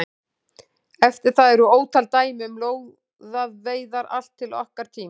Eftir það eru ótal dæmi um lóðaveiðar allt til okkar tíma.